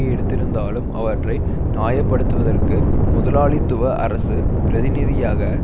எடுத்திருந்தாலும் அவற்றை நியாய படுத்துவதற்கு முதலாளித்துவ அரசு பிரதிநிதியாக